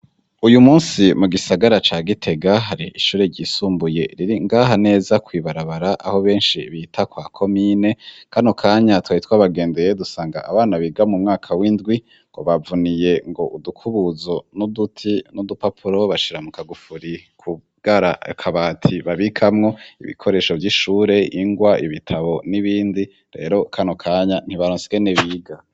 Uyu musi mu gisagara ca gite gahare ishore ryisumbuye riri ngaha neza kwibarabara aho benshi bita kwa ko mine kani kanya twye twabagendeye dusanga abana biga mu mwaka w'indwi ngo bavuniye ngo udukubuzo n'uduti n'udupapuro bashira mukagufuri kubwara kabati babikamwo ibikoresho vy'ishure ingwa ibitabo n'ibindi rero kano kanya ntibarotskene biga.